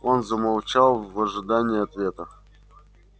он замолчал в ожидании ответа